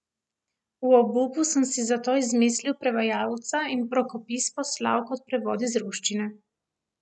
V obupu sem si zato izmislil prevajalca in rokopis poslal kot prevod iz ruščine.